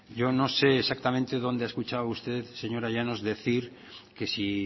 yo no sé exactamente dónde ha escuchado usted señora llanos decir que si